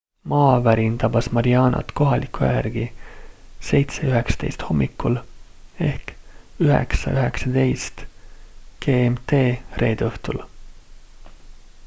maavärin tabas marianat kohaliku aja järgi 07.19 hommikul 09.19 gmt reede õhtul